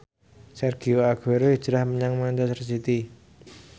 Sergio Aguero hijrah menyang manchester city